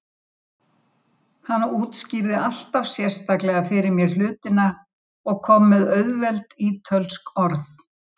Danaprins segir danskan mat feitan